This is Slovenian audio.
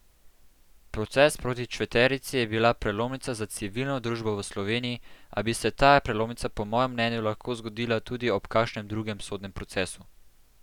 Proces proti četverici je bil prelomnica za civilno družbo v Sloveniji, a bi se ta prelomnica po mojem mnenju lahko zgodila tudi ob kakšnem drugem sodnem procesu.